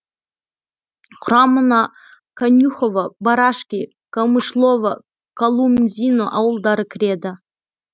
құрамына конюхово барашки камышлово колумзино ауылдары кіреді